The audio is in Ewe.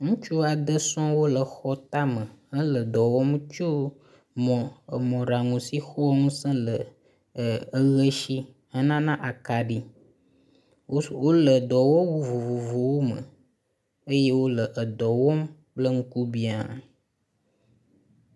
Ŋutsu aɖe sɔ̃ɔ wole xɔ tame le dɔ wɔm tso mɔ mɔɖaŋu si xɔa ŋuse le ee eʋe si henana akaɖi. Wole dɔwɔwu vovovowo me eye wole dɔ wɔm kple ŋkubia.